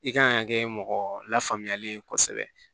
I kan ka kɛ mɔgɔ lafaamuyali ye kosɛbɛ